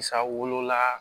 Sa wolola